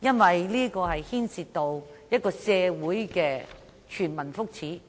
因為這牽涉到一個社會的全民福祉。